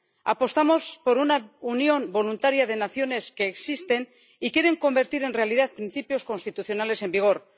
Apostamos por una unión voluntaria de naciones que existen y quieren convertir en realidad principios constitucionales en vigor.